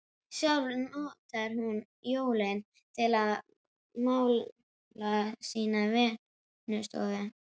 Sjálf notar hún jólin til að mála sína vinnustofu.